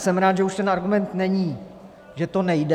Jsem rád, že už ten argument není, že to nejde.